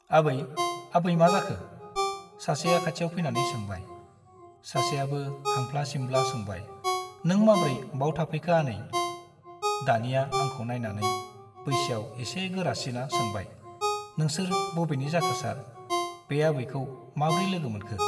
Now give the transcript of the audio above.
आबै , आबै मा जाखो ? सासेआ खाथियाव फैनानै सोंबाय । सासेआबो हांफ्ला सिम्ला सोंबाय , नों माब्रै बाव थाफैखो आनै ? दानिया आंखौ नाइनानै बैसोआव एसे गोरासिना सोंबाय- नोंसोर बबेनि जाखो सार ? बे आबैखौ माब्रै लोगो मोनखो ?